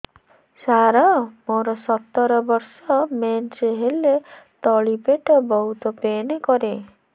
ସାର ମୋର ସତର ବର୍ଷ ମେନ୍ସେସ ହେଲେ ତଳି ପେଟ ବହୁତ ପେନ୍ କରେ